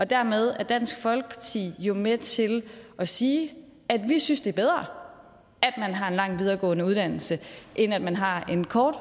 dermed er dansk folkeparti jo med til at sige vi synes det er bedre at man har en lang videregående uddannelse end at man har en kort